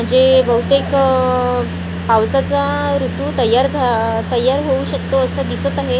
म्हणजे बहुतेक आह पावसाचा ऋतू तयार झ अ तयार होऊ शकतो असं दिसत आहे आणि --